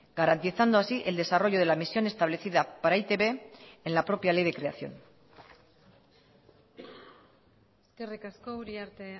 garantizando así el desarrollo de la misión establecida para e i te be en la propia ley de creación eskerrik asko uriarte